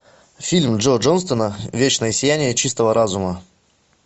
фильм джо джонстона вечное сияние чистого разума